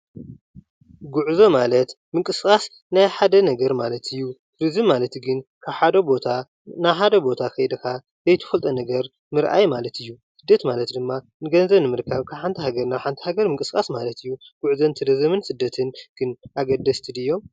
ጉዕዞ ማለት ምንቅስቓስ ናይ ሓደ ነገር ማለት እዩ፡፡ እዚ ማለት ግን ካብ ሓደ ቦታ ናብ ሓደ ቦታ ከይድኻ ዘፍትፈልጦ ነገር ምርኣይ ማለት እዩ፡፡ ስደት ማለት ድማ ንገንዘብ ንምርካብ ካብ ሓንቲ ሃገር ናብ ሓንቲ ሃገር ምንቅስቓስ ማለት እዩ፡፡ ጉዕዞን ስደትን ግን ኣገደስቲ ድዮም?